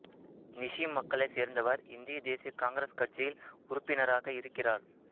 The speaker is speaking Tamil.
நிஷி மக்களை சேர்ந்தவர் இந்திய தேசிய காங்கிரஸ் கட்சியில் உறுப்பினராக இருக்கிறார்